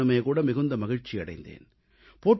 நானுமேகூட மிகுந்த மகிழ்ச்சி அடைந்தேன்